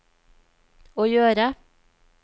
å gjøre